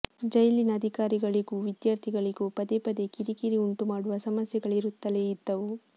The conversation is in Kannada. ಜೈಲಿನ ಅಧಿಕಾರಗಳಿಗೂ ವಿದ್ಯಾರ್ಥಿಗಳಿಗೂ ಪದೇ ಪದೆ ಕಿರಿಕಿರಿ ಉಂಟುಮಾಡುವ ಸಮಸ್ಯೆಗಳಿರುತ್ತಲೇ ಇದ್ದವು